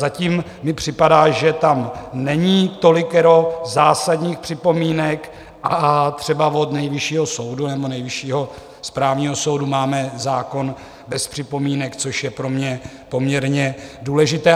Zatím mi připadá, že tam není tolikero zásadních připomínek, a třeba od Nejvyššího soudu nebo Nejvyššího správního soudu máme zákon bez připomínek, což je pro mě poměrně důležité.